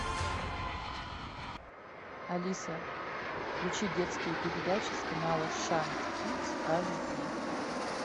алиса включи детские передачи с канала шант кидс аш ди